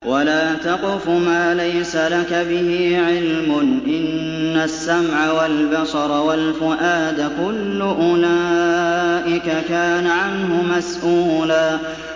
وَلَا تَقْفُ مَا لَيْسَ لَكَ بِهِ عِلْمٌ ۚ إِنَّ السَّمْعَ وَالْبَصَرَ وَالْفُؤَادَ كُلُّ أُولَٰئِكَ كَانَ عَنْهُ مَسْئُولًا